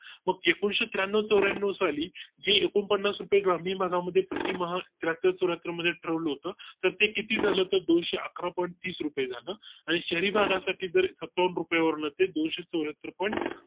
मग एकुणिशे त्र्याण्णव चौऱ्याण्णव साली जी एकोणपन्नास रुपये ग्रामीण भागा मध्ये प्रतिमहा त्र्याहत्तर चौऱ्याहत्तर मध्ये ठरवलं होतं तर ते किती झालं तर दोनशे अकरा point तीस रुपये झालं आणि शहरी भागा साठी दर सत्तावन्न रुपये वरन ते दोनशे त्र्याहत्तर point